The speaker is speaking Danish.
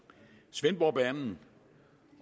svendborgbanen